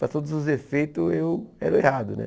Para todos os efeitos eu era o errado, né?